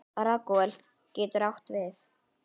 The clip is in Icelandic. Ragúel getur átt við